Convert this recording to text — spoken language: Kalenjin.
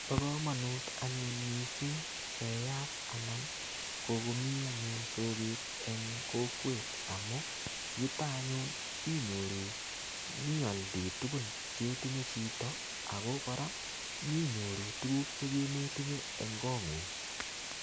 Bo komonut anyun missing keyat anan kokomi anyun soket eng kokwet amu, yutok anyun inyoru nyialdae tugun che itinye chito, ako kora, nyinyoru tuguk chekemetinye eng kot ngung.